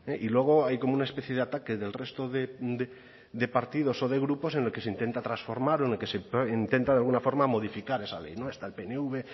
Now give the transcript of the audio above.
y luego hay como una especie de ataque del resto de partidos o de grupos en el que se intenta transformar o en el que se intenta de alguna forma modificar esa ley no está el pnv